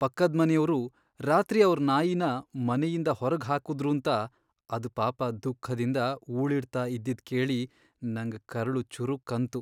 ಪಕ್ಕದ್ಮನೆಯವ್ರು ರಾತ್ರಿ ಅವ್ರ್ ನಾಯಿನ ಮನೆಯಿಂದ ಹೊರ್ಗ್ ಹಾಕುದ್ರೂಂತ ಅದ್ ಪಾಪ ದುಃಖದಿಂದ ಊಳಿಡ್ತಾ ಇದ್ದಿದ್ ಕೇಳಿ ನಂಗ್ ಕರ್ಳು ಚುರುಕ್ ಅಂತು.